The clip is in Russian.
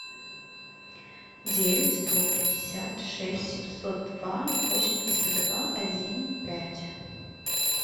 девять сто пятьдесят шесть семьсот два восемьдесят два один пять